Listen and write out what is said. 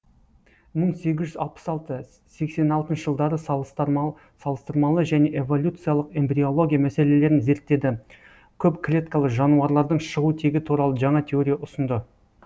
мың сегіз жүз алпыс алты сексен алтыншы жылдары салыстырмалы және эволюциялық эмбриология мәселелерін зерттеді көп клеткалы жануарлардың шығу тегі туралы жаңа теория ұсынды